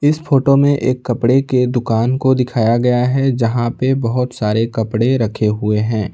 इस फोटो में एक कपड़े के दुकान को दिखाया गया है जहां पे बहुत सारे कपड़े रखे हुए हैं।